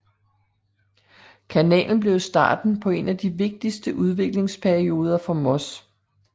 Kanalen blev starten på en af de vigtigste udviklingsperioder for Moss